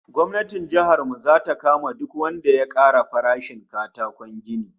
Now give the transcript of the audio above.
Gwamnatin jihar mu zata kama duk wanda ya ƙara farashin katakon gini